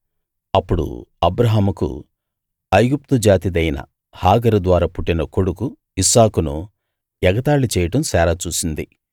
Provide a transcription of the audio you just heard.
అప్పుడు అబ్రాహాముకు ఐగుప్తు జాతిదైన హాగరు ద్వారా పుట్టిన కొడుకు ఇస్సాకును ఎగతాళి చేయడం శారా చూసింది